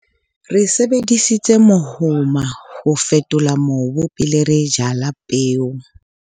re sebedisitse mohoma ho fetola mobu pele re jala peo